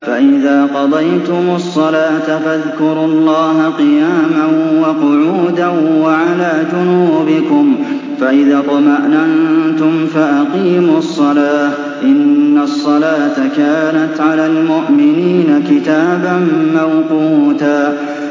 فَإِذَا قَضَيْتُمُ الصَّلَاةَ فَاذْكُرُوا اللَّهَ قِيَامًا وَقُعُودًا وَعَلَىٰ جُنُوبِكُمْ ۚ فَإِذَا اطْمَأْنَنتُمْ فَأَقِيمُوا الصَّلَاةَ ۚ إِنَّ الصَّلَاةَ كَانَتْ عَلَى الْمُؤْمِنِينَ كِتَابًا مَّوْقُوتًا